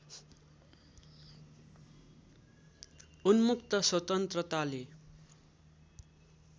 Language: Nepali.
उन्मुक्त स्वतन्त्रताले